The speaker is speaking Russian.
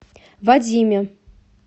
вадиме